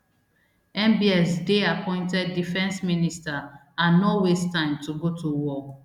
mbs dey appointed defence minister and no waste time to go to war